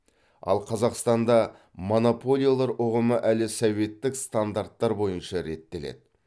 ал қазақстанда монополиялар ұғымы әлі советтік стандарттар бойынша реттеледі